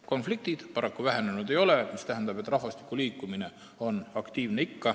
Konfliktid seal paraku vähenenud ei ole, mis tähendab, et rahvastiku liikumine on ikka aktiivne.